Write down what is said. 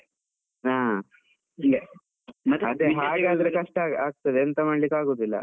ಹಾ ಕಷ್ಟ ಆಗ್ತಾದೆ ಎಂತ ಮಾಡ್ಲಿಕ್ಕೂ ಆಗುದಿಲ್ಲ.